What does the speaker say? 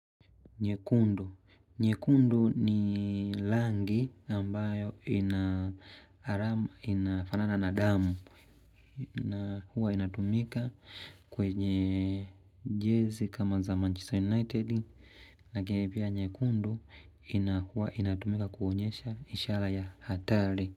Nyekundu, nyekundu ni rangi ambayo inafanana na damu. Na huwa inatumika kwenye jezi kama za Manchester United. Lakini pia nyekundu, inakua inatumika kuonyesha ishara ya hatari.